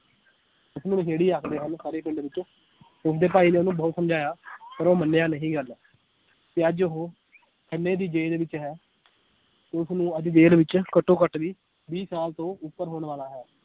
ਉਸਨੂੰ ਨਸ਼ੇੜੀ ਆਖਦੇ ਹਨ ਸਾਰੇ ਪਿੰਡ ਵਿਚ ਉਸਦੇ ਭਾਈ ਨੇ ਉਹਨੂੰ ਬਹੁਤ ਸਮਝਾਇਆ ਪਰ ਉਹ ਮੰਨਿਆ ਨਹੀ ਗੱਲ ਤੇ ਅੱਜ ਉਹ ਖੰਨੇ ਦੀ ਜੇਲ ਵਿਚ ਹੈ ਉਸਨੂੰ ਅੱਜ ਜੇਲ ਵਿੱਚ ਘੱਟੋ ਘੱਟ ਵੀਹ, ਵੀਹ ਸਾਲ ਤੋਂ ਉੱਪਰ ਹੋਣ ਵਾਲਾ ਹੈ।